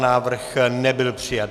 Návrh nebyl přijat.